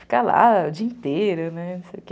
Ficar lá o dia inteiro, né?